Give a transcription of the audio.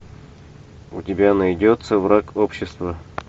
у тебя найдется враг общества